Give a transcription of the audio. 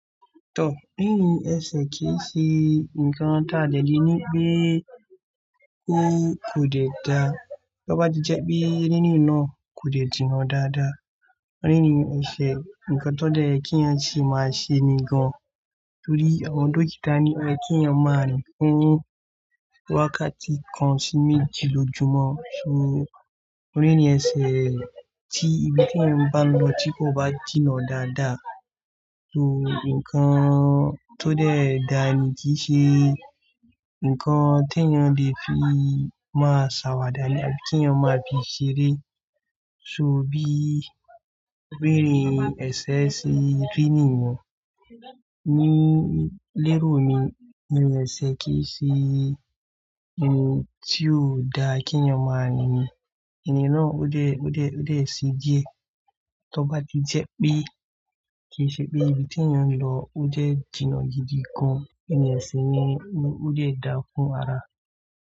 Tọ́, bí ẹ̀ṣẹ̀ kì í ṣe nǹkan tàdé le ni pé ó kò dẹ dá. Tí ó bá ti jẹ́ pé rínì náà kò lè jìnnà dáadáa. Ó ní ìrìn ẹṣẹ̀, ǹkan tó dẹ́ kí ènìyàn sì máa ṣe ni gan. Nítorí àwọn dókítà ní oye kí ènìyàn máa rìn fún wákàtí kan sí méjì lójúmọ́. So ó ní ìrìn ẹṣẹ̀ tí ibi tí ènìyàn bá ń lọ tí kò bá jìnnà dáadáa. So ǹkan tó dẹ́ dà ni kì í ṣe ǹkan tí ènìyàn lè fi máa ṣàwàdà ní àbí kí ènìyàn máa fi ṣeré. So bí rìn ẹṣẹ̀ sí rínì yẹn. Nínú lérò mi, irìn ẹṣẹ̀ kì í ṣe ohun tí ó da kí ènìyàn máa rìn. Ẹ̀ní náà ó lè, ó lè, ó lè ṣi díẹ̀ tí ó bá ti jẹ́ pé kì í ṣe pé ibi tí ènìyàn ń lọ ó jẹ́ jìnnà gidigan. iRìn ẹṣẹ̀ ni ó dè dá fún ara.